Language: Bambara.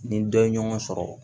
Ni dɔ ye ɲɔgɔn sɔrɔ